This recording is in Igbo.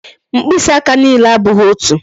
Mkpịsị aka niile abụghị otu